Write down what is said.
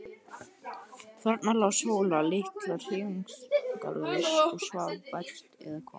Þarna lá Sóla litla hreyfingarlaus og svaf vært. eða hvað?